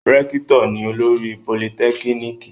Rẹ́kítọ̀ ni olórí politẹ́kíníkì